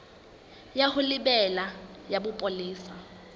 ya ho lebela ya bopolesa